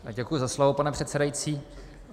Děkuji za slovo, pane předsedající.